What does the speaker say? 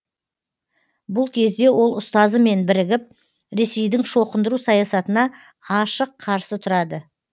бұл кезде ол ұстазымен бірігіп ресейдің шоқындыру саясатына ашық қарсы тұрады